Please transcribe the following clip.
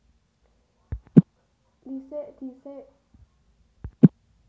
Dhisik disék